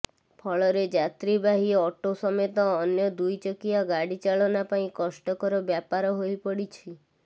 ଫଳରେ ଯାତ୍ରୀବାହୀ ଅଟୋ ସମେତ ଅନ୍ୟ ଦୁଇଚକିଆ ଗାଡି ଚାଳନା ପାଇଁ କଷ୍ଟକର ବ୍ୟାପାର ହୋଇ ପଡିଛି